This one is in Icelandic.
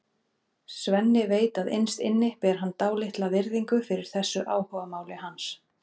Svenni veit að innst inni ber hann dálitla virðingu fyrir þessu áhugamáli hans.